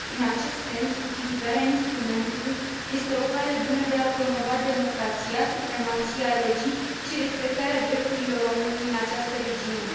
În acest sens, utilizarea instrumentului este o cale bună de a promova democrația, supremația legii și respectarea drepturilor omului în această regiune.